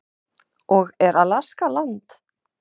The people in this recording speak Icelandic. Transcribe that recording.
og Er Alaska land?